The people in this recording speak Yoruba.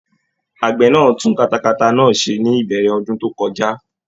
Àgbẹ náà tún katata náà ṣe ní ìbẹ̀rẹ̀ ọdún tó kọjá